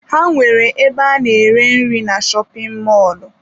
Ha nwere ebe ana-ere nri na shopin mọlụ.